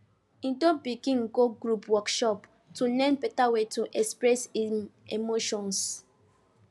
he don begin go group workshop to learn better way to express him emotions